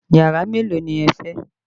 Yàrá mélòó ni ẹ fẹ́?